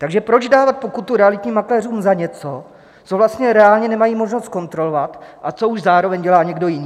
Takže proč dávat pokutu realitním makléřům za něco, co vlastně reálně nemají možnost zkontrolovat, a co už zároveň dělá někdo jiný?